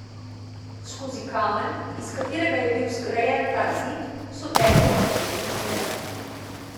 Skozi kamen, iz katerega je bil zgrajen ta zid, so tekle bakrene žile.